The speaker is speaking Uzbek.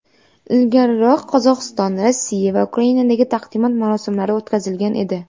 Ilgariroq Qozog‘iston, Rossiya va Ukrainada taqdimot marosimlari o‘tkazilgan edi.